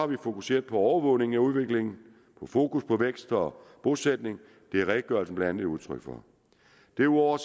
vi fokuseret på overvågning af udviklingen med fokus på vækst og bosætning det er redegørelsen blandt andet et udtryk for derudover